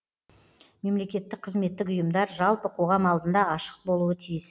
мемлекеттік қызметтік ұйымдар жалпы қоғам алдында ашық болуы тиіс